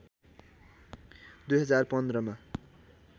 २०१५ मा